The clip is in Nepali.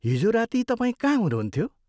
हिजो राती तपाईँ कहाँ हुनुहुन्थ्यो?